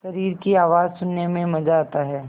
शरीर की आवाज़ सुनने में मज़ा आता है